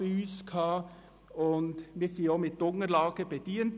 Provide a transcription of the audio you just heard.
Zudem wurde der gesamte Grosse Rat mit Unterlagen bedient.